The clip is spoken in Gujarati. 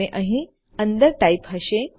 અને અહીં અંદર ટાઇપ હશે